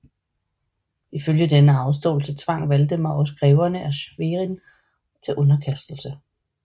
Ifølge denne afståelse tvang Valdemar også greverne af Schwerin til underkastelse